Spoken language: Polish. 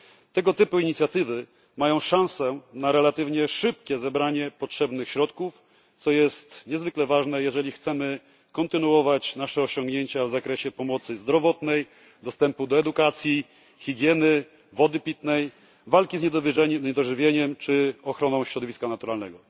Tego typu inicjatywy mają szansę na relatywnie szybkie zebranie potrzebnych środków, co jest niezwykle ważne, jeżeli chcemy kontynuować nasze osiągnięcia w zakresie pomocy zdrowotnej, dostępu do edukacji, higieny, wody pitnej, walki z niedożywieniem czy ochrony środowiska naturalnego.